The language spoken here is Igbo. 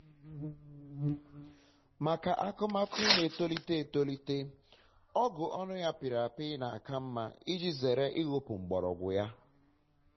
um maka akụmakụ ka na-etolite etolite ọgụ ọnụ ya pịrị apị na-aka mma um iji zere ihopu um mgbọrọgwụ ha